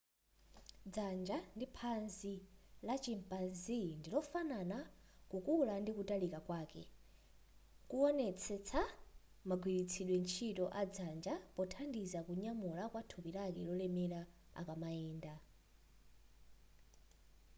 dzanja ndi phazi la chimpanzee ndilofanana kukula ndi kutalika kwake kuwonetsa magwiritsidwe ntchito a dzanja pothandiza kunyamula kwa thupi lake lolemera akamayenda